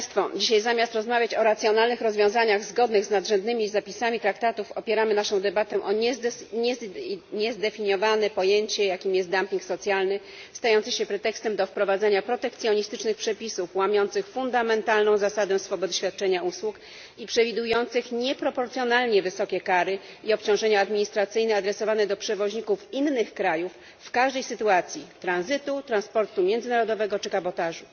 Dzisiaj zamiast rozmawiać o racjonalnych rozwiązaniach zgodnych z nadrzędnymi zapisami traktatów, opieramy naszą debatą o niezdefiniowane pojęcie, jakim jest dumping socjalny stający się pretekstem do wprowadzenia protekcjonistycznych przepisów łamiących fundamentalną zasadę swobody świadczenia usług i przewidujących nieproporcjonalnie wysokie kary i obciążenia administracyjne adresowane do przewoźników innych krajów w każdej sytuacji tranzytu, transportu międzynarodowego czy kabotażu.